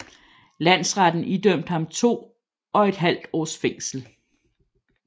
Landsretten idømt ham to og et halvt års fængsel